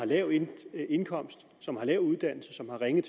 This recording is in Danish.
lav indkomst lav uddannelse og ringe